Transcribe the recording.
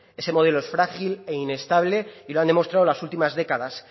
ese modelo es frágil e inestable y lo han demostrado en las últimas décadas